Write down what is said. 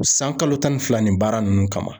San kalo tan ni fila ni baara nunnu kama